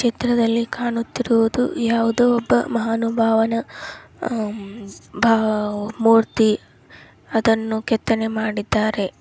ಚಿತ್ರದಲ್ಲಿ ಕಾಣುತ್ತಿರುವುದು ಯಾವುದೊ ಒಬ್ಬ ಮಹಾನುಭಾವಾನಾ ಆಹ್ಹ್ಮ್ಮ್ ಭಾವ್ ಮೂರ್ತಿ ಅದನ್ನು ಕೆತ್ತನೆ ಮಾಡಿದ್ದಾರೆ.